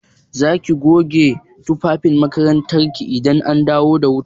Za ki goge tufafin makarantar ki idan an dawo da wuta?